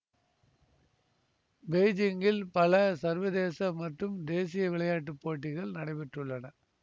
பெய்ஜிங்கில் பல சர்வதேச மற்றும் தேசிய விளையாட்டு போட்டிகள் நடைபெற்றுள்ளன